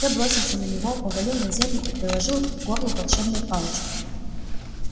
я бросился на него повалил на землю и приложил к горлу волшебную палочку